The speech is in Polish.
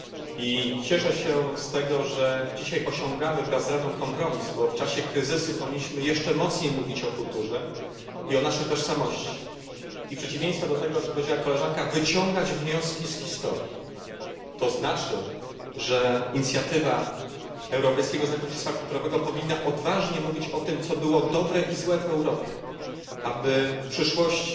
I cieszę się z tego, że dzisiaj osiągamy wraz z Radą kompromis, bo w czasie kryzysu powinniśmy jeszcze z większym naciskiem mówić o kulturze i o naszej tożsamości oraz, w przeciwieństwie do tego, o czym powiedziała koleżanka, wyciągać wnioski z historii, co oznacza, że inicjatywa europejskiego znaku dziedzictwa kulturowego powinna odważnie mówić o tym, co było dobre i złe w Europie, aby w przyszłości